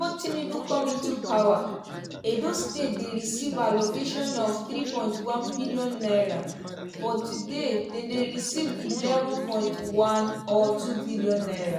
"tinubu come into power edo state dey receive allocation of thee point one billion naira but today dem dey receive eleven point one or two billion naira.